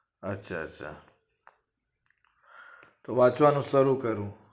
અચ્છા અચ્છા તો વાંચવાનું શરુ કરું